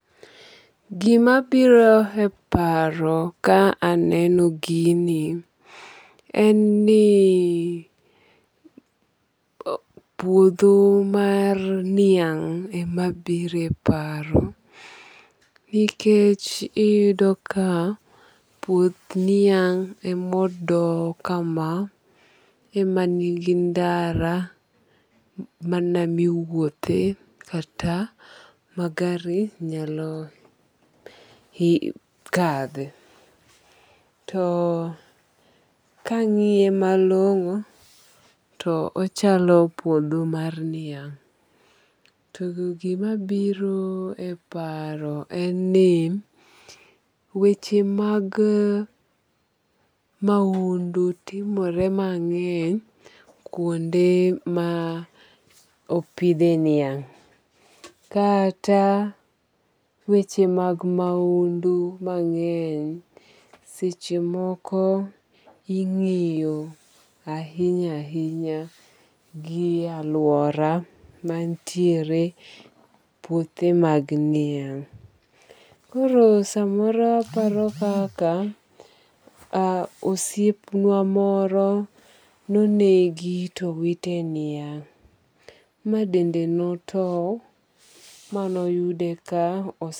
Gima biro e paro ka aneno gini en ni puodho mar niang' ema biiro e paro nikech iyudo ka puoth niang' emo do kama ema nigi ndara mana miwuothe kata ma gari nyalo kadhe. To kang'iye malong'o to ochalo puodho mar niang'. To gima biro e paro en ni weche mag maundu timore mang'eny kuonde ma opidhe niang'. Kata weche mag maundu mang'eny seche moko ing'iyo ahinya ahinya gi aluora mantiere puothe mag niang'. Koro samoro aparo kaka osiep wa moro no negi towite niang' ma dende no tow manoyude ka.